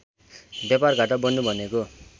व्यापारघाटा बढ्नु भनेको